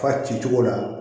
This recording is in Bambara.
Fa ci cogo la